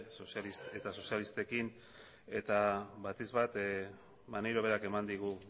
eta sozialistekin eta batipat maneiro berak eman digu